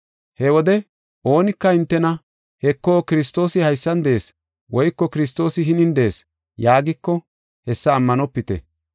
“He wode oonika hintena, ‘Heko, Kiristoosi haysan de7ees woyko Kiristoosi hinin de7ees’ yaagiko, hessa ammanopite.